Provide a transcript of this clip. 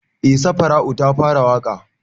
Eh safara'u ta fara waƙa